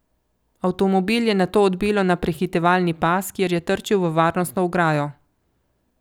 Avtomobil je nato odbilo na prehitevalni pas, kjer je trčilo v varnostno ograjo.